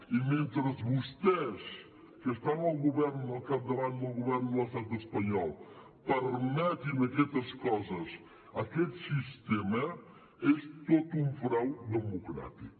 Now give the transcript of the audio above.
i mentre vostès que estan al capdavant del govern de l’estat espanyol permetin aquestes coses aquest sistema és tot un frau democràtic